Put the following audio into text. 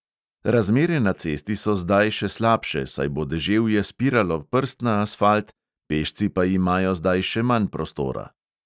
Razmere na cesti so zdaj še slabše, saj bo deževje spiralo prst na asfalt, pešci pa imajo zdaj še manj prostora.